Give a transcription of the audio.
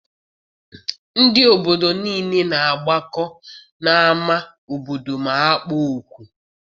Ndị obodo niile na-agbakọ n'ama obodo ma akpọọ oku.